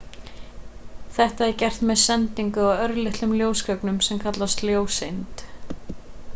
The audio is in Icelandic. þetta er gert með sendingu á örlitlum ljósögnum sem kallast ljóseind